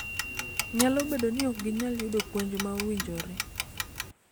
Nyalo bedo ni ok ginyal yudo puonj ma owinjore